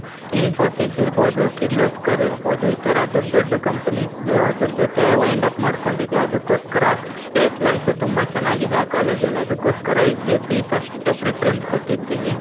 Infosy's ಇರ್ಬಹುದು, kirloskar ಇರ್ಬಹುದು, ಈ ಥರ ದೊಡ್ಡ್ ದೊಡ್ಡ್ companies ಅದ್ರ್ ಜೊತೆ wind up ಮಾಡ್ಕೊಂಡಿದೆ. ಅದುಕ್ಕೋಸ್ಕರ, placements ತುಂಬ ಚನ್ನಾಗಿದೆ ಆ ಕಾಲೇಜಲ್ಲಿ. ಅದುಕ್ಕೋಸ್ಕರSJP first preference ಕೊಟ್ಟಿದ್ದೀನಿ.